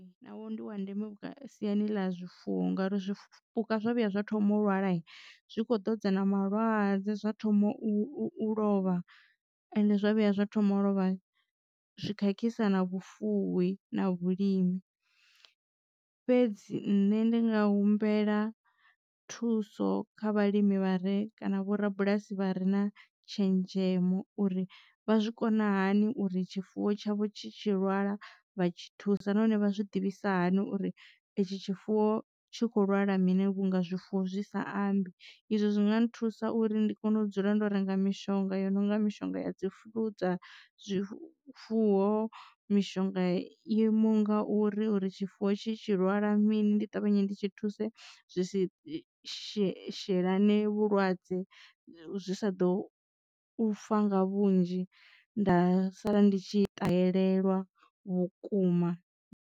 Navho ndi wa ndeme siani ḽa zwifuwo ngauri zwo zwipuka zwa vhuya zwa thoma u lwala zwi kho ḓo dza na malwadze zwa thoma u lovha ende zwo vhuya zwa thoma u lovha zwi khakhisa na vhufuwi na vhulimi. Fhedzi nne ndi nga humbela thuso kha vhalimi vhare kana vho-rabulasi vha re na tshenzhemo uri vha zwi kona hani uri tshifuwo tshavho tshi tshi lwala vha tshi thusa nahone vha zwi ḓivhisa hani uri i tshi tshifuwo tshi kho lwala mini vhunga zwifuwo zwi sa ambi. Izwo zwi nga nthusa uri ndi kone u dzula ndo renga mishonga yo no nga mishonga ya dzi flu dza zwifuwo mishonga yoimaho nga uri uri tshifuwo tshi lwala mini ndi ṱavhanye ndi tshi thuse zwi si shelane vhulwadze zwi sa ḓo fa nga vhunzhi nda sala ndi tshi ṱalelelwa vhukuma.